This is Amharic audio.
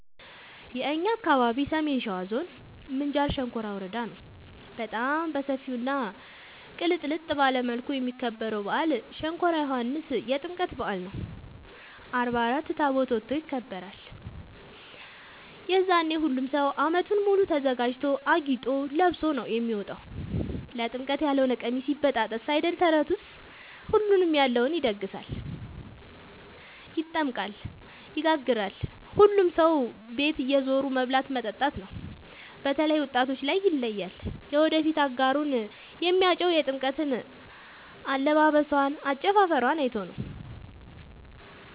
የእኛ አካባቢ ሰሜን ሸዋ ዞን ምንጃር ሸንኮራ ወረዳ ነው። በጣም በሰፊው እና ቅልጥልጥ ባለ መልኩ የሚከበረው በአል ሸንኮራ ዮኋንስ የጥምቀት በአል ነው። አርባ አራት ታቦት ወጥቶ ይከብራል። የዛኔ ሁሉም ሰው አመቱን ሙሉ ተዘጋጅቶ አጊጦ ለብሶ ነው የሚወጣው ለጥምቀት ያሎነ ቀሚስ ይበጣጠስ አይደል ተረቱስ ሁሉም ያለውን ይደግሳል። ይጠምቃል ይጋግራል ሁሉም ሰው ቤት እየዞሩ መብላት መጠጣት ነው። በተላይ ወጣቶች ላይ ይለያል። የወደፊት አጋሩን የሚያጨው የጥምቀት አለባበሶን አጨፉፈሯን አይቶ ነው።